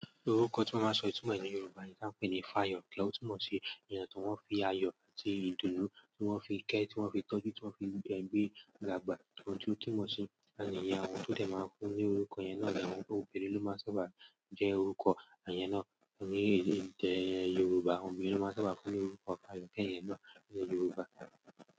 Orúkọ tí wọ́n máa ń sọ ìtumọ̀ ní Yorùbá nì tan pé ní f'ayọ̀ tí ọ́ túnmọ̀ sí emi atí awọ́n fi ayọ̀ àti ìdùnnú tí wọ́n fi kẹ́, tí wọ́n fi tọ́jú, tí wọ́n fi be gbé dàgbá. Ntó túmọ̀ sì na nìyen o, àwọn tó dẹ̀ máa ń fún ní orúkọ yẹn náà, obìnrin ló máa n sábà jẹ́ orúkọ iyẹn náà ní èdè Yorùbá. Ọbinrin ni wón máa n sáábà fún ní orúkọ f'ayọ̀kẹ́ yen náà ní Yorùbá.